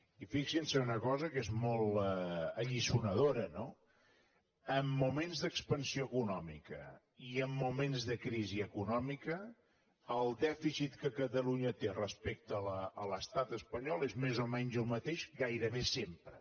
i fixin se en una cosa que és molt alliçonadora no en moments d’expansió econòmica i en moments de crisi econòmica el dèficit que catalunya té respecte a l’estat espanyol és més o menys el mateix gairebé sempre